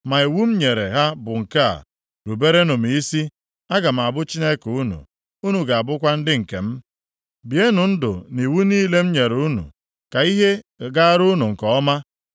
Ma iwu m nyere ha bụ nke a, ruberenụ m isi, aga m abụ Chineke unu, unu ga-abụkwa ndị nke m. Bienụ ndụ nʼiwu niile m nyere unu, ka ihe gaara unu nke ọma.